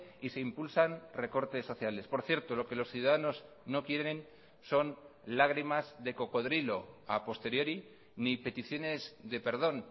y se impulsan recortes sociales por cierto lo que los ciudadanos no quieren son lágrimas de cocodrilo a posteriori ni peticiones de perdón